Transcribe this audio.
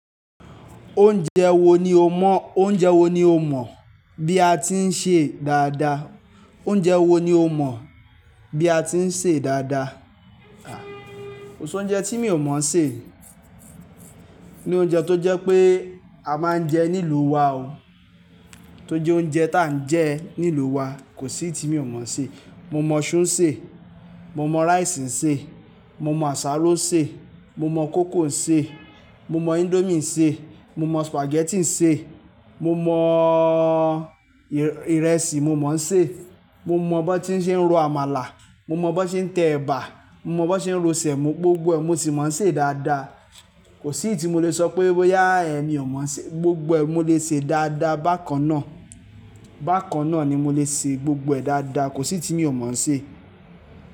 Oúnjẹ wo ni o mọ, oúnjẹ wo ni o mọ bí a ti ń ṣe dáadáa? Oúnjẹ wo ni o mọ bí a ti ń ṣe dáadáa? Ah kosi oúnjẹ tí mi ò mọ̀ ṣe ni oúnjẹ tó jẹ́ pé a máa ń jẹ nílùú wa o. Tó jẹ́ oúnjẹ táa ń jẹ nílùú wa, kò sí ti mo mọ̀ ṣe. Mo mọ̀ súù ṣe, mo mọ̀ rice ṣe, mo mọ̀ àsáro ṣe, mo mọ̀ koko ṣe, mo mọ̀ indomie ṣe, mo mọ̀ spaghetti ṣe, mo mọ̀ ìrẹsì mo mọ̀ ń ṣe, mo mọ̀ bó tí ń ṣe ń ro amala, mo mọ̀ bó tí ń tẹ ẹ̀bà, mo mọ̀ bó tí ń ro sẹ̀mọ́, gbogbo ẹ̀ mọ̀ ti mo ń ṣe dáadáa. Kò sí ti mo le sọ pé, boya ẹ mi ò mọ̀ ṣe. Gbogbo ẹ̀ mo le ṣe dáadáa bákan náà. Bákan náà ni mo lè ṣe gbogbo ẹ̀ dáadáa. Kò sí ti mo mọ̀ ṣe.